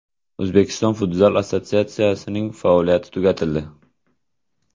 O‘zbekiston Futzal Assotsiatsiyasining faoliyati tugatildi.